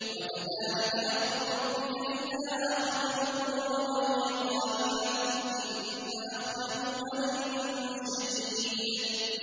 وَكَذَٰلِكَ أَخْذُ رَبِّكَ إِذَا أَخَذَ الْقُرَىٰ وَهِيَ ظَالِمَةٌ ۚ إِنَّ أَخْذَهُ أَلِيمٌ شَدِيدٌ